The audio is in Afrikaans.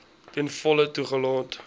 ten volle toegelaat